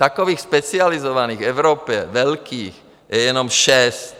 Takových specializovaných v Evropě, velkých, je jenom šest.